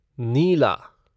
नीला